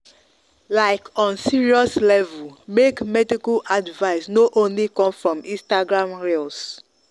like on serious level make medical advice no only come from instagram reels.